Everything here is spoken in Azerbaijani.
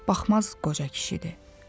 Baxmaz qoca kişidir.